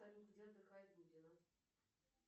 салют где отдыхает дудина